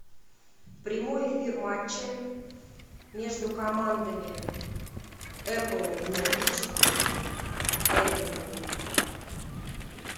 прямой эфир матча между командами апл норвич эвертон